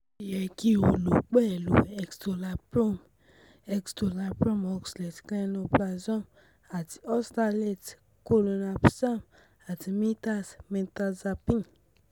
O yẹ ki o lo pẹ̀lú Escitalopram Escitalopram Oxalate, Clonazepam ati Oxalate, Clonazepam ati Mirtaz Mirtazapine